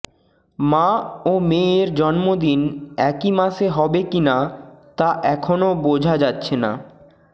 মা ও মেয়ের জন্মদিন একই মাসে হবে কিনা তা এখনও বোঝা যাচ্ছে না